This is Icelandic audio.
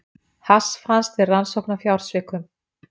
Hass fannst við rannsókn á fjársvikum